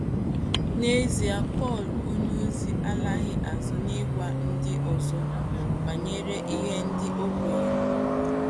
N’ezie Pọl onyeòzi alaghị azụ n’ị̀gwa ndị ọzọ banyere ihe ndị o kweèrè.